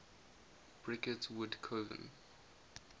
bricket wood coven